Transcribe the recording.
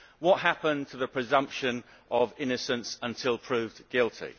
What happened to the presumption of innocence until proved guilty?